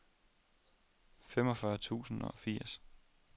femogfyrre tusind og firs